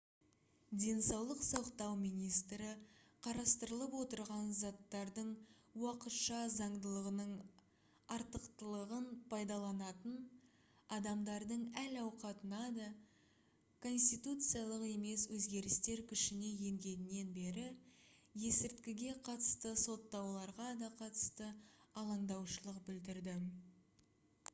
денсаулық сақтау министрі қарастырылып отырған заттардың уақытша заңдылығының артықлығын пайдаланатын адамдардың әл-ауқатына да конституциялық емес өзгерістер күшіне енгеннен бері есірткіге қатысты соттауларға да қатысты алаңдаушылық білдірді